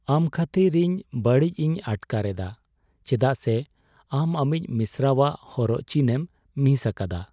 ᱟᱢ ᱠᱷᱟᱹᱛᱤᱨ ᱤᱧ ᱵᱟᱹᱲᱤᱡ ᱤᱧ ᱟᱴᱠᱟᱨ ᱮᱫᱟ ᱪᱮᱫᱟᱜ ᱥᱮ ᱟᱢ ᱟᱢᱤᱡ ᱢᱤᱥᱨᱟᱣᱟᱜ ᱦᱚᱨᱚᱜ ᱪᱤᱱᱮᱢ ᱢᱤᱥ ᱟᱠᱟᱫᱟ ᱾